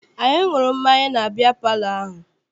Anyị ṅụrụ mmanya na biya palọ ahụ.